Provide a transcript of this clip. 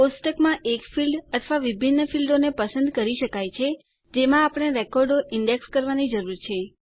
કોષ્ટકમાં એક ફીલ્ડ અથવા વિભિન્ન ફીલ્ડો ને પસંદ કરી શકીએ છીએ જેમાં આપણે રેકોર્ડો ઈન્ડેક્સ કરવાની જરૂર છે